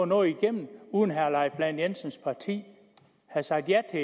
noget igennem uden at herre leif lahn jensens parti havde sagt ja til